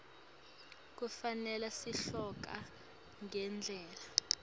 kufanele sihloko ngendlela